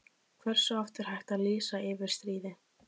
Hversu oft er hægt að lýsa yfir stríði?